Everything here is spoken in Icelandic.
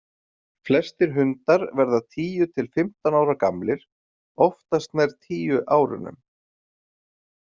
Flestir hundar verða tíu til fimmtán ára gamlir, oftast nær tíu árunum.